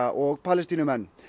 og Palestínumenn